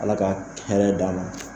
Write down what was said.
Ala ka hɛrɛ d'a ma